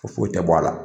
Ko foyi tɛ bɔ a la